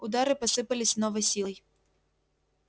удары посыпались с новой силой